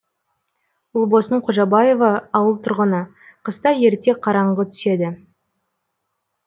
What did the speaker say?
ұлбосын қожабаева ауыл тұрғыны қыста ерте қараңғы түседі